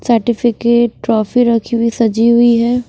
Certificate trophy रखी हुई सजी हुई है।